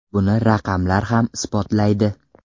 Buni raqamlar ham isbotlaydi.